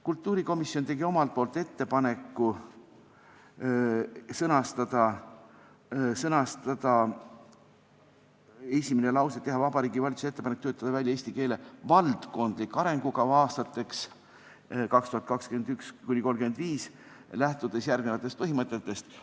Kultuurikomisjon tegi ettepaneku sõnastada esimene lause nii: "Teha Vabariigi Valitsusele ettepanek töötada välja eesti keele valdkondlik arengukava aastateks 2021–2035, lähtudes järgnevatest põhimõtetest.